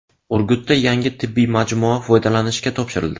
Urgutda yangi tibbiy majmua foydalanishga topshirildi.